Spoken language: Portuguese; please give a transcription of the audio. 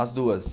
As duas.